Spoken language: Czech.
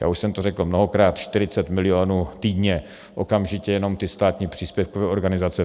Já už jsem to řekl mnohokrát, 40 milionů týdně, okamžitě, jenom ty státní příspěvkové organizace.